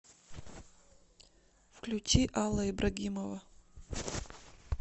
включи алла ибрагимова